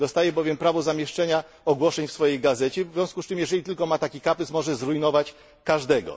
Dostaje on bowiem prawo do zamieszczenia ogłoszeń w swojej gazecie, w związku z czym jeżeli ma tylko taki kaprys, może zrujnować każdego.